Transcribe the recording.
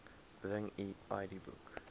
bring u idboek